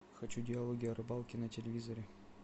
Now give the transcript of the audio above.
хочу диалоги о рыбалке на телевизоре